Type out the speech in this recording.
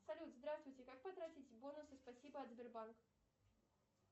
салют здравствуйте как потратить бонусы спасибо от сбербанка